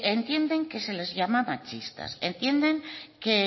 entienden que se les llama machistas entienden que